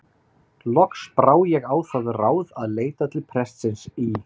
Loks brá ég á það ráð að leita til prestsins í